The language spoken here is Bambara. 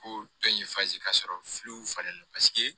Ko dɔ in ka sɔrɔ falenlen don paseke